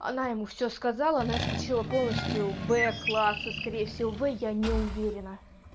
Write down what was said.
она ему все сказала она исключила полностью б классы скорее всего в я не уверена